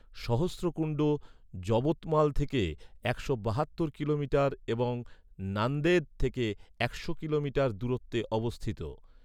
সহস্রকুণ্ড, যবতমাল থেকে একশো বাহাত্তর কিলোমিটার এবং নান্দেদ থেকে একশো কিলোমিটার দূরত্বে অবস্থিত।